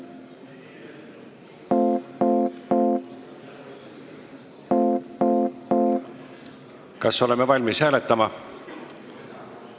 Kas oleme valmis hääletama?